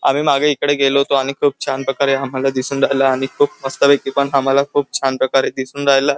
आमी मागे इकडे गेलो होतो आणि खूप छान प्रकारे आम्हाला दिसून राहिला आणि खूप मस्तपैकी पण आम्हाला खूप छान प्रकारे दिसून राहिला.